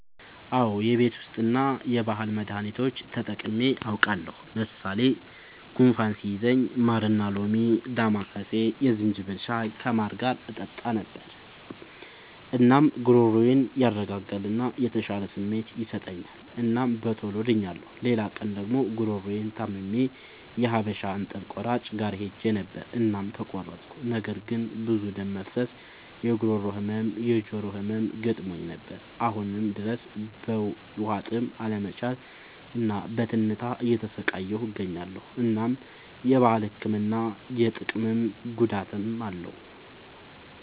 አዎ የቤት ዉስጥ እና የባህል መዳኒቶች ተጠቅሜ አዉቃለሁ። ለምሳሌ፦ ጉንፋን ሲይዘኝ ማርና ሎሚ፣ ዳማከሴ፣ የዝንጅብል ሻይ ከማር ጋር እጠጣ ነበር። እናም ጉሮሮዬን ያረጋጋል እና የተሻለ ስሜት ይሰጠኛል እናም በቶሎ ድኛለሁ። ሌላ ቀን ደግሞ ጉሮሮየን ታምሜ የሀበሻ እንጥል ቆራጭ ጋር ሄጀ ነበር እናም ተቆረጥኩ። ነገር ግን ብዙ ደም መፍሰስ፣ የጉሮሮ ህመም፣ የጆሮ ህመም ገጥሞኝ ነበር። አሁንም ድረስ በዉሀጥም አለመቻል እና በትንታ እየተሰቃየሁ እገኛለሁ። እናም የባህል ህክምና ጥቅምም ጉዳትም አለዉ።